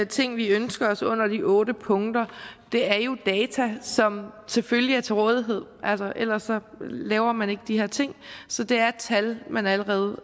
ting vi ønsker os under de otte punkter er jo data som selvfølgelig er til rådighed ellers laver man ikke de her ting så det er tal man allerede